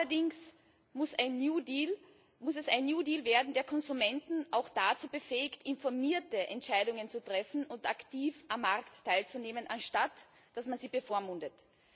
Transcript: Allerdings muss es ein New Deal werden, der Konsumenten auch dazu befähigt, informierte Entscheidungen zu treffen und aktiv am Markt teilzunehmen, anstatt dass man sie bevormundet.